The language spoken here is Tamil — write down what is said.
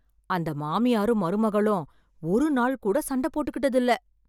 அந்த மாமியாரும் மருமகளும் ஒருநாள் கூட சண்ட போட்டுக்கிட்டதில்ல.